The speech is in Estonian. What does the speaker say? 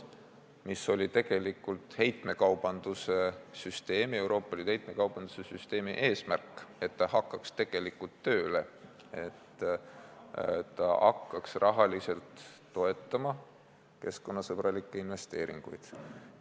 See tegelikult oli Euroopa Liidu heitmekaubanduse süsteemi eesmärk, selleks et ta hakkaks tegelikult tööle, et ta hakkaks rahaliselt toetama keskkonnasõbralikke investeeringuid.